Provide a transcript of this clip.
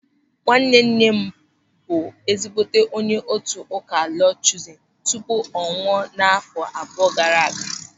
Nwannenne m bụ ezigbote onye otu ụka Lọọd Chuuzin tupu ọ nwụọ n'àfọ́ abụọ gaara aga.